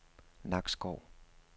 Nakskov